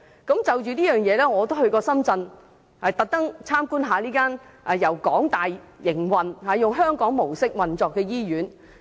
我就此也曾特意前往參觀這間由香港大學營運，以香港模式運作的醫院。